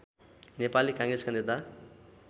नेपाली काङ्ग्रेसका नेता